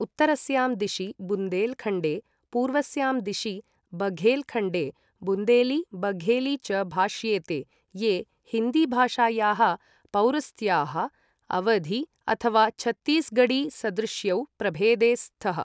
उत्तरस्यां दिशि बुन्देलखण्डे, पूर्वस्यां दिशि च बघेलखण्डे, बुन्देली, बघेली च भाष्येते ये हिन्दीभाषायाः पौरस्त्याः, अवधी अथवा छत्तीसगढी सदृश्यौ प्रभेदे स्तः।